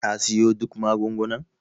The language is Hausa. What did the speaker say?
ka siyo duk magungunan?